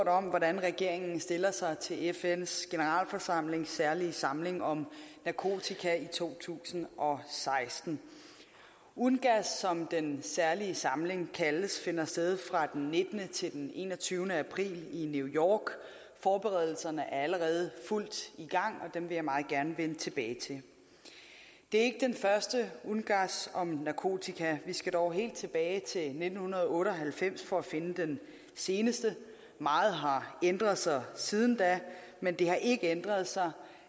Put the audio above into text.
om hvordan regeringen stiller sig til fns generalforsamlings særlige samling om narkotika i to tusind og seksten ungass som den særlige samling kaldes finder sted fra den nittende til den enogtyvende april i new york forberedelserne er allerede i fuld gang og dem vil jeg meget gerne vende tilbage til det er første ungass om narkotika vi skal dog helt tilbage til nitten otte og halvfems for at finde den seneste meget har ændret sig siden da men det har ikke ændret sig